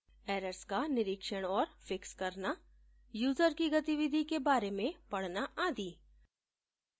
errors का निरीक्षण और फिक्स करना यूजर की गतिविधि के बारे में पढना आदि